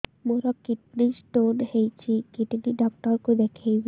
ମୋର kidney stone ହେଇଛି kidney doctor କୁ ଦେଖାଇବି